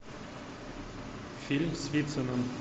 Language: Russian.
фильм с вициным